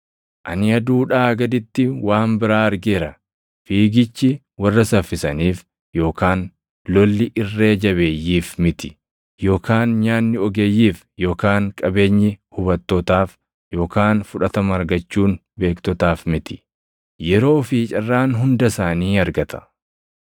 Ani aduudhaa gaditti waan biraa argeera: Fiigichi warra saffisaniif yookaan lolli irree jabeeyyiif miti; yookaan nyaanni ogeeyyiif yookaan qabeenyi hubattootaaf yookaan fudhatama argachuun beektotaaf miti; yeroo fi carraan hunda isaanii argata.